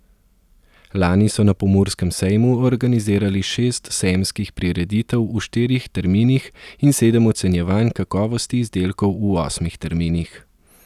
Lani so na Pomurskem sejmu organizirali šest sejemskih prireditev v štirih terminih in sedem ocenjevanj kakovosti izdelkov v osmih terminih.